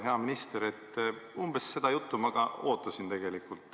Hea minister, umbes seda juttu ma ka ootasin.